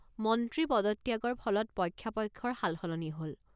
মন্ত্ৰী পদত্যাগৰ ফলত পক্ষাপক্ষৰ সালসলনি হল।